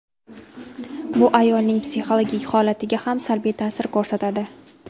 Bu ayolning psixologik holatiga ham salbiy ta’sir ko‘rsatadi.